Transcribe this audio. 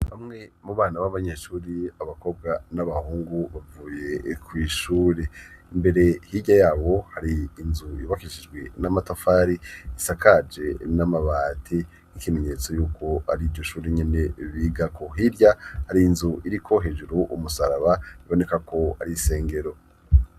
Bamwe mu bana b'abanyeshuri abakobwa n'abahungu bavuye kw' ishure, imbere hirya yabo hari inzu yubakishijwe n'amatafari ,isakaje n'amabati ,n'ikimenyetso y'uko ari iryo shure nyene bigako, hirya hari inzu iriko hejuru umusaraba iboneka ko ari isengero.